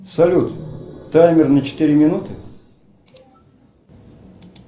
салют таймер на четыре минуты